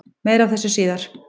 Meira af þessu síðar.